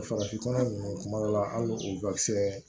Farafin fura nunnu kuma dɔ la ali o kisɛ